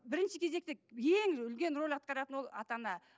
бірінші кезекте ең үлкен рөл атқаратыны ол ата ана